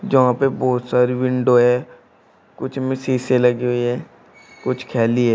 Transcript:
जहां पे बहोत सारे विंडो है कुछ में शीशे लगे हुए है कुछ खाली है।